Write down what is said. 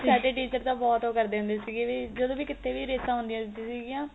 ਸਾਡੇ teacher ਤਾਂ ਬਹੁਤ ਉਹ ਕਰਦੇ ਹੁੰਦੇ ਸੀਗੇ ਜਦੋ ਵੀ ਕੀਤੇ ਵੀ ਰੇਸਾ ਹੁੰਦਿਆ ਸੀਗੀਆ